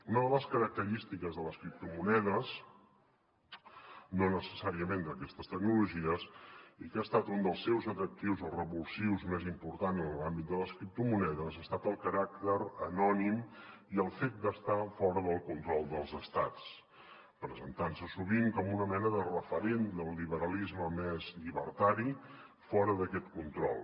una de les característiques de les criptomonedes no necessàriament d’aquestes tecnologies i que ha estat un dels seus atractius o revulsius més importants en l’àmbit de les criptomonedes ha estat el caràcter anònim i el fet d’estar fora del control dels estats presentant se sovint com una mena de referent del liberalisme més llibertari fora d’aquest control